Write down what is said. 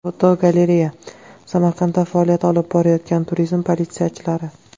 Fotogalereya: Samarqandda faoliyat olib borayotgan turizm politsiyachilari.